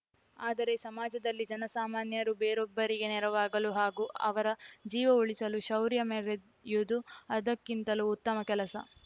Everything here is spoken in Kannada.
ಆದರೆ ಸಮಾಜದಲ್ಲಿ ಜನಸಾಮಾನ್ಯರು ಬೇರೊಬ್ಬರಿಗೆ ನೆರವಾಗಲು ಹಾಗೂ ಅವರ ಜೀವ ಉಳಿಸಲು ಶೌರ್ಯ ಮೆರೆಯುದು ಅದಕ್ಕಿಂತಲೂ ಉತ್ತಮ ಕೆಲಸ